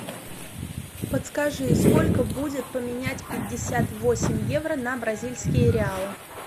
подскажи сколько будет поменять пятьдесят восемь евро на бразильские реалы